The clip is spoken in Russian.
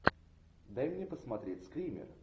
дай мне посмотреть скример